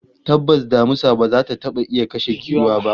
Tabbas damisa ba za ta taba iya kashe giwa ba